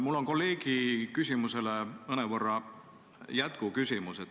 Mul on kolleegi küsimusele mõnevõrra jätkuküsimus.